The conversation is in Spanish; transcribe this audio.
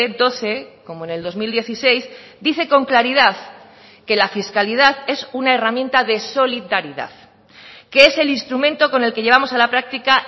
doce como en el dos mil dieciséis dice con claridad que la fiscalidad es una herramienta de solidaridad que es el instrumento con el que llevamos a la práctica